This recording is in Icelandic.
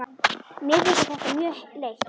Mér þykir þetta mjög leitt.